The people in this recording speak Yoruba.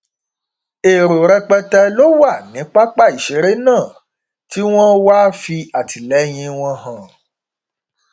èrò rẹpẹtẹ ló wà ní pápá ìṣeré náà tí wọn wáá fi àtìlẹyìn wọn hàn